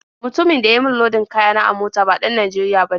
Mutumin da ya yi min lodin kaya na a mota ba ɗan Najeriya bane.